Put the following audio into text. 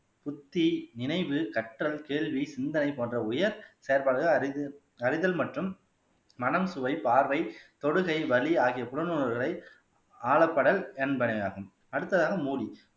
புத்தி நினைவு கற்றல் கேள்வி சிந்தன போன்ற உயர் செயல்பாடுகள் அறித அறிதல் மற்றும் மனம் சுவை பார்வை தொடுகை வலி ஆகிய புலன் உணர்வுகளை ஆலப்படல் எண்பனை ஆகும் அடுத்ததாக மூடி